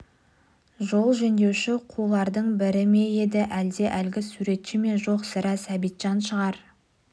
жол жөндеуші қулардың бірі ме еді әлде әлгі суретші ме жоқ сірә сәбитжан шығар